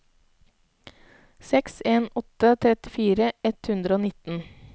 seks en en åtte trettifire ett hundre og nitten